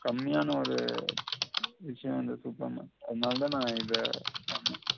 கம்மியான ஒரு விஷயம் இந்த super market அதனால தான் நான் இத சொன்ன